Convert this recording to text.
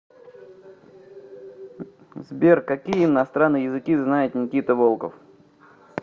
сбер какие иностранные языки знает никита волков